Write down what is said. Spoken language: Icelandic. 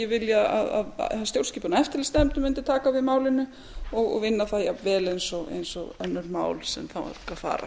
vilja að stjórnskipunar og eftirlitsnefnd mundi taka við málinu og vinna það jafnvel og önnur mál sem þangað fara